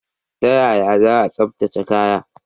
Ta yaya za a tsaftace kaya?